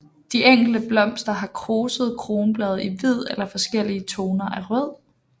De enkelte blomster har krusede kronblade i hvid eller forskellige toner af rød